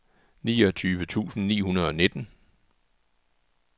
niogtyve tusind ni hundrede og nitten